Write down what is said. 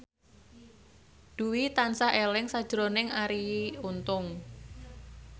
Dwi tansah eling sakjroning Arie Untung